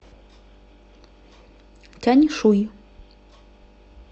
тяньшуй